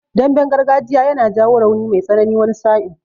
Damben gargajiya yana jawo rauni mai tsanani wani sa'in.